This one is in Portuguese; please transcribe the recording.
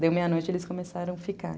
Deu meia-noite, eles começaram a ficar.